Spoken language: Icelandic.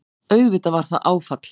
Auðvitað var það áfall.